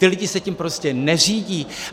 Ti lidé se tím prostě neřídí.